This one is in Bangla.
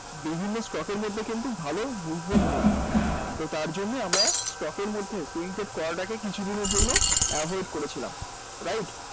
বিভিন্ন stock এর মধ্যে কিন্তু ভালো movement নেই তো তার জন্যেই আমরা stock এর মধ্যে করাটাকে কিছুদিনের জন্য avoid করেছিলাম right?